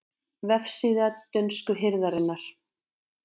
Vefsíða dönsku hirðarinnar